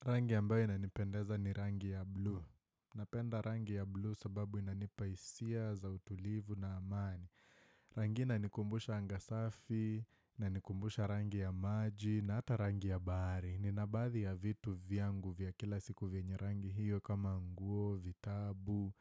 Rangi ambayo inanipendeza ni rangi ya blue. Napenda rangi ya blue sababu inanipa hisia za utulivu na amani. Rangi hii inanikumbusha anga safi, inanikumbusha rangi ya maji, na ata rangi ya bahari. Nina baadhi ya vitu vyangu vya kila siku vyenye rangi hiyo kama nguo, vitabu,